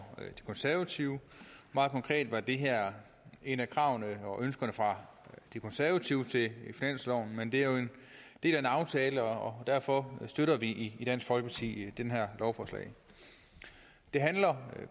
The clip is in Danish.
de konservative meget konkret er det her et af kravene og et ønske fra de konservative til finansloven men det er jo en del af en aftale og derfor støtter vi i dansk folkeparti det her lovforslag det handler